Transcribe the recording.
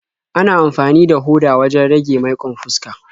Ana amfani da hoda wajen rage maiƙon fuska.